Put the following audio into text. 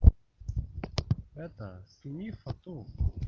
это с них потом